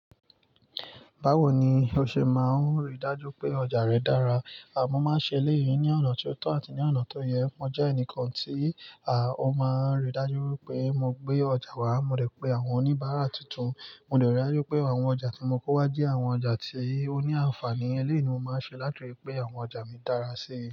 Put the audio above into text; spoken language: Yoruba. Báwo ni o ṣe máa ń rí dájú pé ọjà rẹ dára? À mọ́ máa ń ṣe èlé yìí ní ọ̀nà tí ó tọ́ àti ní ọ̀nà tó yẹ. Mo jẹ́ ẹnìkan tí a o máa ń rí dájú wípé mo gbé ọjà wá, mo de pé àwọn oníbàárà tuntun, mo de rí dájú pé àwọn ọjà tí mo kó wá jẹ́ àwọn ọjà tí ó ní àǹfààní. Eléèyi mo máa ń ṣe láti ri pé àwọn ọjà mi dára sí i.